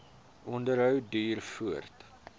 onderhou duur voort